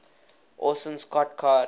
orson scott card